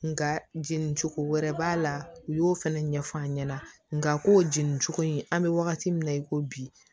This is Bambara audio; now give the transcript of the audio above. Nka jeni cogo wɛrɛ b'a la u y'o fɛnɛ ɲɛf'an ɲɛna nka k'o jeni cogo in an bɛ wagati min na i ko bi